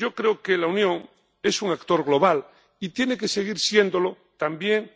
Yo creo que la Unión es un actor global y tiene que seguir siéndolo, también,